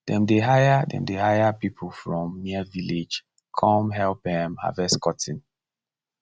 dem dey hire dem dey hire people from near village cum help um harvest cotton